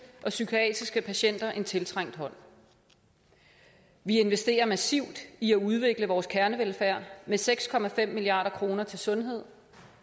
og psykiatriske patienter en tiltrængt hånd vi investerer massivt i at udvikle vores kernevelfærd med seks milliard kroner til sundhed